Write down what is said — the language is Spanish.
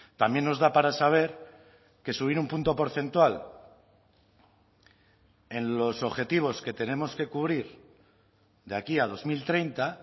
también nos da para saber que subir un punto porcentual en los objetivos que tenemos que cubrir de aquí a dos mil treinta